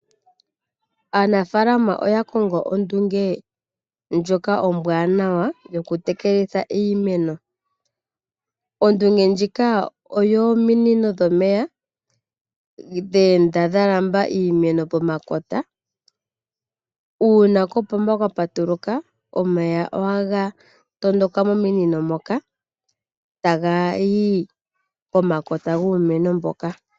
Aanafaalama oya kongo ondunge ndjoka ombwaanawa yoku tekelitha iimeno. Ondunge ndjika oyominino dhomeya dhe enda dha lamba iimeno pomakota. Uuna kopomba kwa patuluka omeya ohaga tondoka mominino moka taga yi pomakota guumeno mboka.